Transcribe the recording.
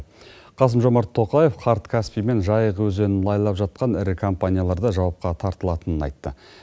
қасым жомарт тоқаев қарт каспий мен жайық өзенін лайлап жатқан ірі компанияларды жауапқа тартылатынын айтты